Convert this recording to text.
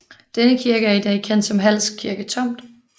Denne kirke er i dag kendt som Hals Kirke Tomt